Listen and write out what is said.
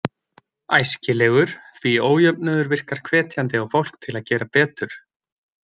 Æskilegur, því ójöfnuður virkar hvetjandi á fólk til að gera betur.